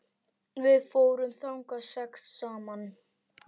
Við fórum þangað sex saman.